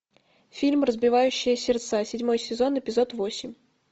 фильм разбивающая сердца седьмой сезон эпизод восемь